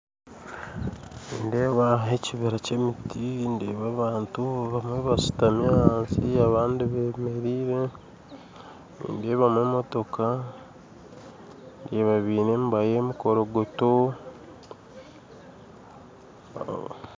Nindeeba hariho ekibira ky'emiti ndeeba abantu abamwe bashuutamire ahansi abandi bamerire nindeebamu emotooka ndeeba baine emiba y'emikorogonto